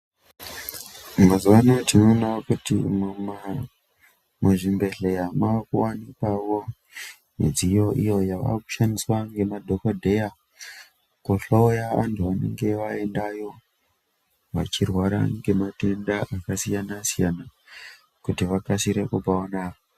Mazuva ano tinoona kuti muzvibhehleya makuonekwaeo midziyo inoshandiswaeo ngemadhokodeyakuhloya vantu vanenge vaendayo ngematenda akasiyana siyana kuti vakasire kupora.